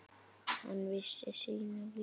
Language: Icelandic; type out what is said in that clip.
Hann vissi sínu viti.